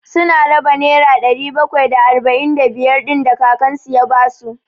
Su na raba nera ɗari bakwai da arba'in da biyar ɗin da kakan su ya ba su.